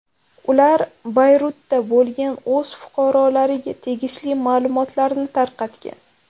Ular Bayrutda bo‘lgan o‘z fuqarolariga tegishli ma’lumotlarni tarqatgan.